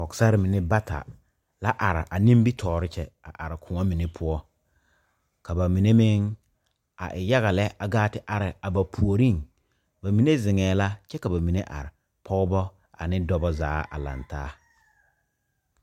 Pɔgesare mine bata la are a nimitɔɔre kyɛ a are koɔ mine poɔ ka ba mine meŋ a e yaga lɛ a gaa te are a ba puoriŋ ba mine zeŋɛɛ la kyɛ ka ba mine are pɔgeba ane dɔba zaa a laŋ taa.